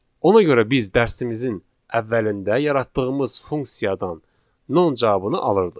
Ona görə biz dərsimizin əvvəlində yaratdığımız funksiyadan non cavabını alırdıq.